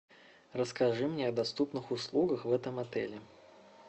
расскажи мне о доступных услугах в этом отеле